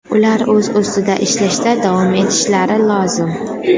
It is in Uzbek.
Ular o‘z ustida ishlashda davom etishlari lozim.